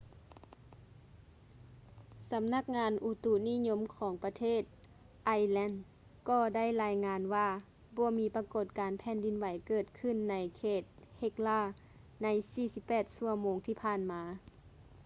ສຳນັກງານອຸຕຸນິຍົມຂອງ ປະເທດ ໄອສ໌ແລນ ກໍໄດ້ລາຍງານວ່າບໍ່ມີປະກົດການແຜ່ນດິນໄຫວເກີດຂຶ້ນໃນເຂດ ເຮັກລາ hekla ໃນ 48 ຊົ່ວໂມງທີ່ຜ່ານມາ